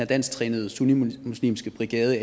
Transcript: dansk trænede sunnimuslimske brigade